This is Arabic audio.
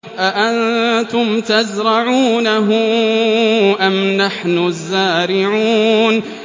أَأَنتُمْ تَزْرَعُونَهُ أَمْ نَحْنُ الزَّارِعُونَ